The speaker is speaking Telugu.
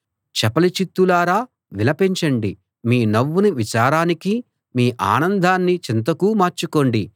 చపలచిత్తులారా విలపించండి మీ నవ్వును విచారానికీ మీ ఆనందాన్ని చింతకూ మార్చుకోండి